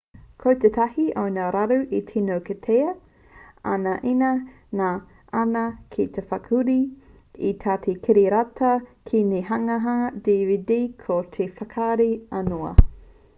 ko tētahi o ngā raru e tino kitea ana ina ngana ana ki te whakahuri i tētahi kiriata ki te hanganga dvd ko te whakarahi aunoa